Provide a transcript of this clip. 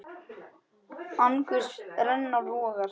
Angurs renna vogar.